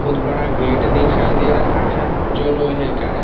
बहुत बड़ा गेट दिखाई दे रहा है जो लोहे का है।